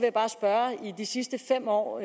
de sidste fem år hvor